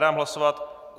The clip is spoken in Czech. Dám hlasovat.